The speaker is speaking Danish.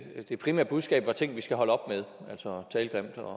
at det primære budskab var ting vi skal holde op med altså tale grimt og